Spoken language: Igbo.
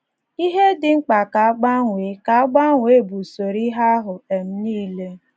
Ihe dị mkpa ka a gbanwee ka a gbanwee bụ usoro ihe ahụ um nile.